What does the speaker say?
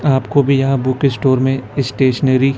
आपको भी यहां बुक स्टोर में स्टेशनरी --